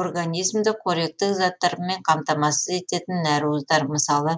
организмді коректік заттармен қамтамасыз ететін нәруыздар мысалы